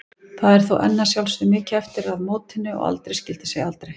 Það er þó enn að sjálfsögðu mikið eftir að mótinu og aldrei skyldi segja aldrei.